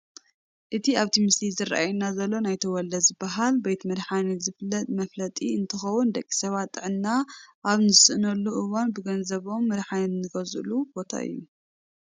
እቲ ኣብቲ ምስሊ ዝራኣየና ዘሎ ናይ ተወልደ ዝተባሃለ ቤት መድሓኒት ዘፋልጥ መፋለጢ እንትኸውን ደቂ ሰባት ጥዕና ኣብ ዝስእንሉ እዋን ብገንዘቦም መድሓኒት ዝገዝእሉ ቦታ እዩ፡፡